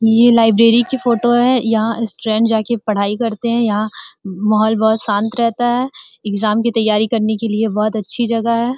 ये लाइब्रेरी की फोटो है। यहाँ स्टूडेंट जाके पढाई करते है। यहाँ माहोल बोहोत शांत रहता है। एग्जाम की तयारी करने के लिए भोत अच्छी जगह है।